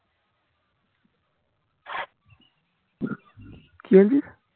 কি বলছিস